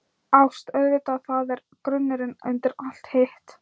ÁST- auðvitað, það er grunnurinn undir allt hitt.